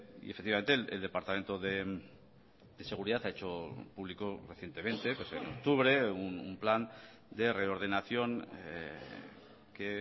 y efectivamente el departamento de seguridad ha hecho público recientemente en octubre un plan de reordenación que